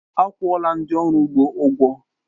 Akwuọla ndị ọrụ ugbo ụgwọ